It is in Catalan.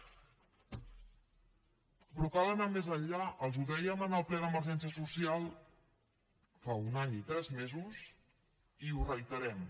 però cal anar més enllà els ho dèiem en el ple d’emergència social fa un any i tres mesos i ho reiterem